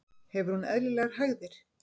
Hefur hún eðlilegar hægðir?